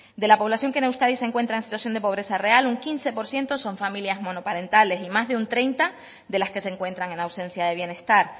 de la población que en euskadi se encuentra en situación de pobreza real un quince por ciento son familias monoparentales y más de un treinta de las que se encuentran en ausencia de bienestar